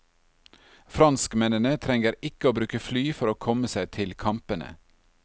Franskmennene trenger ikke å bruke fly for å komme seg til kampene.